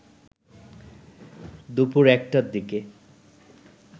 দুপুর ১টার দিকে